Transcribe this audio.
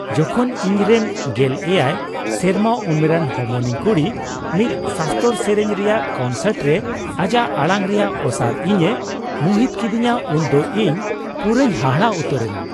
ᱡᱚᱠᱷᱚᱱ ᱤᱧᱨᱮᱱ ᱑᱗ ᱥᱮᱨᱢᱟ ᱩᱢᱮᱨᱟᱱ ᱦᱚᱢᱚᱱᱤᱧ ᱠᱩᱲᱤ ᱢᱤᱫ ᱥᱟᱥᱛᱚᱨ ᱥᱮᱨᱮᱧ ᱨᱮᱭᱟᱜ ᱠᱚᱱᱥᱟᱨᱴ ᱨᱮ ᱟᱡᱟᱜ ᱟᱲᱟᱝ ᱨᱮᱭᱟᱜ ᱚᱥᱟᱨ ᱤᱧᱮ ᱢᱚᱦᱤᱛ ᱠᱤᱫᱤᱧᱟ ᱩᱱᱫᱚ ᱤᱧ ᱯᱩᱨᱟᱹᱧ ᱦᱟᱦᱟᱲᱟᱜ ᱩᱛᱟᱹᱨᱮᱱᱟ ᱾